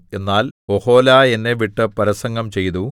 എന്നാൽ ഒഹൊലാ എന്നെ വിട്ട് പരസംഗം ചെയ്തു